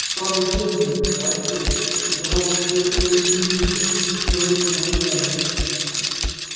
старый бенджамин осел казалось совершенно не изменился со времён восстания